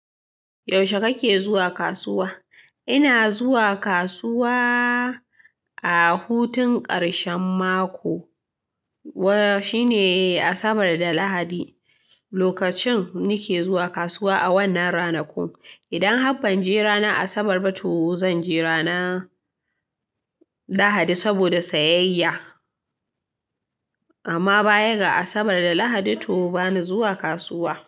Yaushe kake zuwa kasuwa? Ina zuwa kasuwa a hutun ƙarshen mako, wane shine Asabar da Lahadi. Lokacin nike zuwa kasuwa a wannan ranakun, idan har ban je ranar Asabar ba, to zan je ranar Lahadi saboda sayayya. Amma bayan ga Asabar da Lahadi to bani zuwa kasuwa.